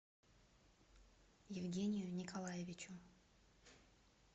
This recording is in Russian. евгению николаевичу